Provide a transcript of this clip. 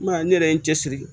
M'a ne yɛrɛ ye n cɛ siri